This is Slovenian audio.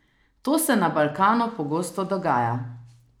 To se na Balkanu pogosto dogaja.